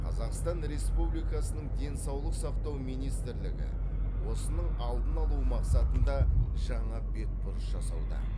қазақстан республикасының денсаулық сақтау министрлігі осының алдын алу мақсатында жаңа бетбұрыс жасауда